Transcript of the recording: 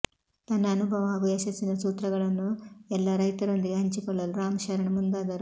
ತನ್ನ ಅನುಭವ ಹಾಗೂ ಯಶಸ್ಸಿನ ಸೂತ್ರಗಳನ್ನು ಎಲ್ಲ ರೈತರೊಂದಿಗೆ ಹಂಚಿಕೊಳ್ಳಲು ರಾಮ್ ಶರಣ್ ಮುಂದಾದರು